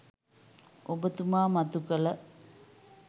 ඔබතුමා මතු කළ